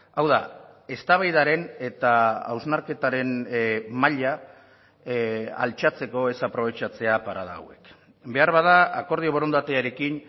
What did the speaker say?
hau da eztabaidaren eta hausnarketaren maila altxatzeko ez aprobetxatzea parada hauek beharbada akordio borondatearekin